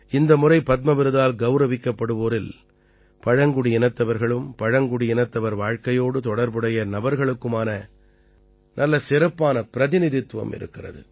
இந்த முறை பத்ம விருதால் கௌரவிக்கப்படுவோரில் பழங்குடியினத்தவர்களும் பழங்குடியினத்தவர் வாழ்க்கையோடு தொடர்புடைய நபர்களுக்குமான நல்ல சிறப்பான பிரதிநிதித்துவம் இருக்கிறது